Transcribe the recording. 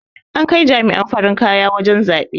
an Kai jama'an farin kaya wajen zaɓe